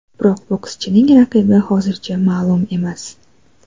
Biroq bokschining raqibi hozircha ma’lum emas.